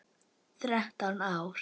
Þrettán ár.